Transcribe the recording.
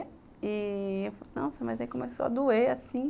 E eu falei, nossa, mas aí começou a doer, assim.